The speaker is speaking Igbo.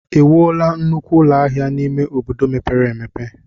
Ewuola nnukwu ụlọ ahịa n'ime obodo mepere emepe?